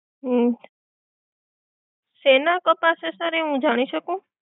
ઓહ, શેના કપાશે સર એ હું જાણી શકું?